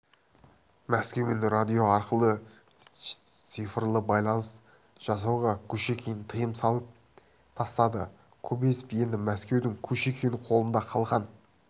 мәскеумен радио арқылы шифрлы байланыс жасауға кушекин тыйым салып тастады кобозев енді мәскеудің кушекин қолында қалған